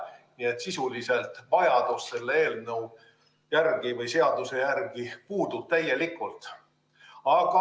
Nii et sisuliselt vajadus selle eelnõu või seaduse järele puudub täielikult.